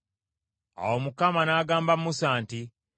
Awo Mukama n’agamba Musa nti,